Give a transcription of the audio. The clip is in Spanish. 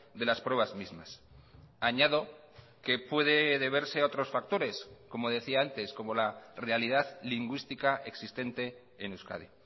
de las pruebas mismas añado que puede deberse a otros factores como decía antes como la realidad lingüística existente en euskadi